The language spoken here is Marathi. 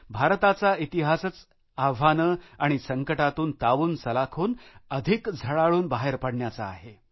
भारताचा इतिहासच आव्हानं आणि संकटातून तावूनसुलाखून अधिक झळाळून बाहेर पडण्याचा आहे